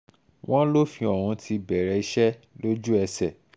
wọ́n lófin ọ̀hún ti bẹ̀rẹ̀ iṣẹ́ lójú-ẹsẹ̀